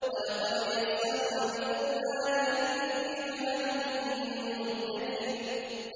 وَلَقَدْ يَسَّرْنَا الْقُرْآنَ لِلذِّكْرِ فَهَلْ مِن مُّدَّكِرٍ